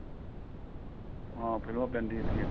ਹਾਂ ਫ਼ਿਲਮਾਂ ਪੈਂਦੀਆਂ ਤੀਆਂ